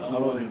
Və dönmüsünüz.